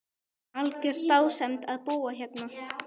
Algjör dásemd að búa hérna.